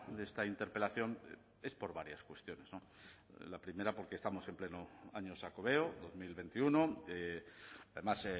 de esta interpelación es por varias cuestiones la primera porque estamos en pleno año xacobeo dos mil veintiuno además